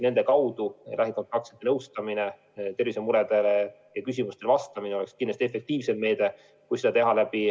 Nende kaudu lähikontaktsete nõustamine, inimeste tervisemuredele ja küsimustele vastamine oleks kindlasti efektiivsem.